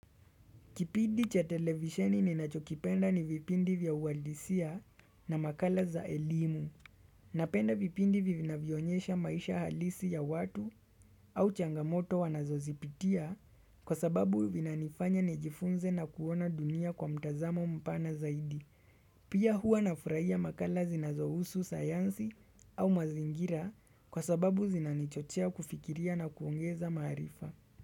Kipindi cha televisheni ninacho kipenda ni vipindi vya uwadisia na makala za elimu. Napenda vipindi vivinavyonyesha maisha halisi ya watu au changamoto wanazo zipitia kwa sababu vina nifanya nijifunze na kuona dunia kwa mtazamo mpana zaidi. Pia hua nafurahia makala zinazohusu sayansi au mazingira kwa sababu zinanichochea kufikiria na kuongeza maarifa.